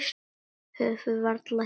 Höfðum varla hist.